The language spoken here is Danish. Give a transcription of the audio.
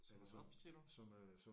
Hvorfor siger du?